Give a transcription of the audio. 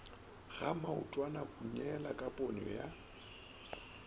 ga maotwanahunyela ka ponyo ya